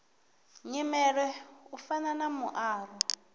nyimele u fana na muaro